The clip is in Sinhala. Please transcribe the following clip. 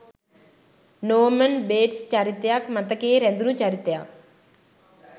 නෝමන් බේට්ස් චරිතයත් මතකයේ රැඳුනු චරිතයක්.